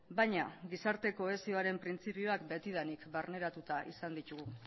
baina gizarte kohesioaren printzipioak betidanik barneratuta izan ditugu